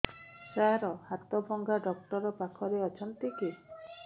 ସାର ହାଡଭଙ୍ଗା ଡକ୍ଟର ପାଖରେ ଅଛନ୍ତି କି